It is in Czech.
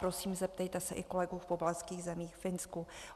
Prosím, zeptejte se i kolegů v pobaltských zemích, ve Finsku.